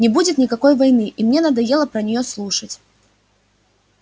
не будет никакой войны и мне надоело про неё слушать